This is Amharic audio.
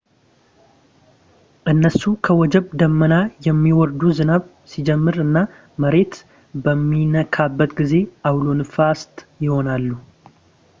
እነሱ ከወጀብ ደመና የሚወርዱ ዝናብ ሲጀምር እና መሬት በሚነካበት ጊዜ አውሎ ነፋሳት ይሆናሉ